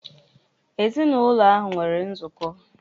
Ezinụlọ ahụ nwere nzukọ.